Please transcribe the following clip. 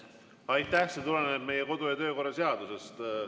See tuleneb meie kodu‑ ja töökorra seadusest.